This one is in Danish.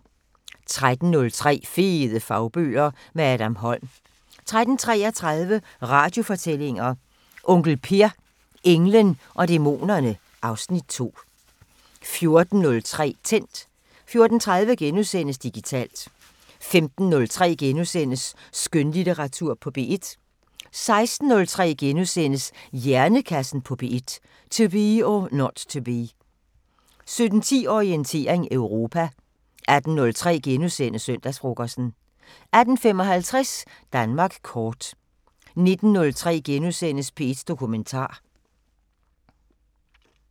13:03: Fede fagbøger – med Adam Holm 13:33: Radiofortællinger: Onkel Per – englen og dæmonerne (Afs. 2) 14:03: Tændt 14:30: Digitalt * 15:03: Skønlitteratur på P1 * 16:03: Hjernekassen på P1: To be or not to be * 17:10: Orientering Europa 18:03: Søndagsfrokosten * 18:55: Danmark kort 19:03: P1 Dokumentar *